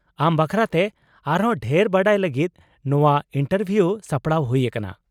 ᱟᱢ ᱵᱟᱠᱷᱨᱟᱛᱮ ᱟᱨ ᱦᱚᱸ ᱰᱷᱮᱨ ᱵᱟᱰᱟᱭ ᱞᱟᱹᱜᱤᱫ ᱱᱚᱶᱟ ᱤᱱᱴᱟᱨᱵᱷᱤᱭᱩ ᱥᱟᱯᱲᱟᱣ ᱦᱩᱭ ᱟᱠᱟᱱᱟ ᱾